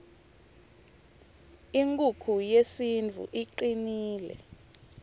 inkukhu yesintfu icnile